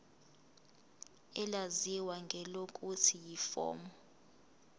elaziwa ngelokuthi yiform